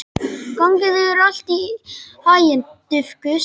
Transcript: Gangi þér allt í haginn, Dufgus.